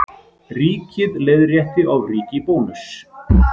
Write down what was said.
Ríkið leiðrétti ofríki Bónuss